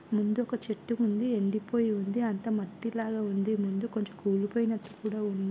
ముందు ఒక చెట్టు ఉంది ఎండి పోయి ఉంది అంత మట్టి లాగా ఉంది ముందు కొంచెం కూలి కూలిపోయినటు కూడా ఉంది.